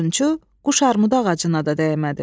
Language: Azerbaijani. Odunçu quşarmudu ağacına da dəymədi.